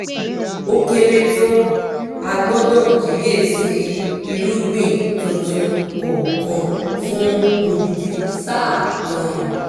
ó kéré tán a gbọ́dọ̀ kíyè sí irúgbìn tuntun kọ̀ọ̀kan fún odindi sáà kan